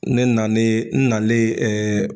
Ne nalen n nalen